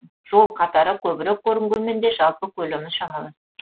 жол қатары көбірек көрінгенмен де жалпы көлемі шамалас